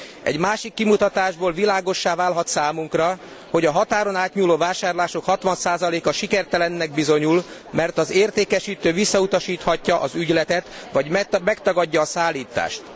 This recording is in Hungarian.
Egy másik kimutatásból világossá válhat számunkra, hogy a határon átnyúló vásárlások 60 a sikertelennek bizonyul, mert az értékesítő visszautasíthatja az ügyletet vagy megtagadja a szállítást.